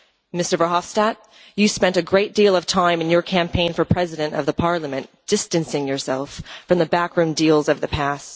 Mr Verhofstadt, you spent a great deal of time in your campaign for president of the Parliament distancing yourself from the backroom deals of the past.